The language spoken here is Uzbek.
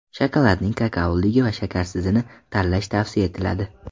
Shokoladning kakaoligi va shakarsizini tanlash tavsiya etiladi.